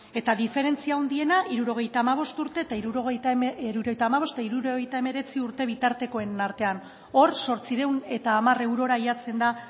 eta diferentzia handiena hirurogeita hamabost eta hirurogeita hemeretzi urte bitartekoen artean hor zortziehun eta hamar eurora jartzen da